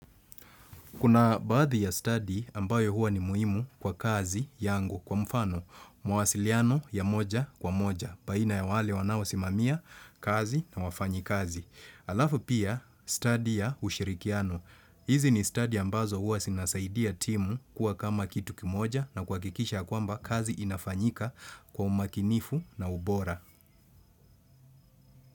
Kuna baadhi ya stadi ambayo huwa ni muhimu kwa kazi yangu kwa mfano, mawasiliano ya moja kwa moja, baina ya wale wanaosimamia kazi na wafanyi kazi. Alafu pia stadi ya ushirikiano. Hizi ni stadi ambazo huwa sinasaidia timu kuwa kama kitu kimoja na kuhakikisha ya kwamba kazi inafanyika kwa umakinifu na ubora.